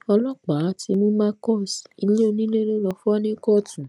ọlọ́pàá ti mú marcus ilé onílé lọ lọ fọ́ níkọ̀tún